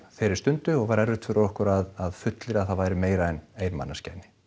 þeirri stundu og var erfitt fyrir okkur að fullyrða að það væri meira en ein manneskja inni